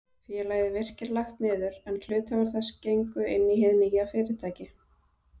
Félagið Virkir lagt niður, en hluthafar þess gengu inn í hið nýja fyrirtæki.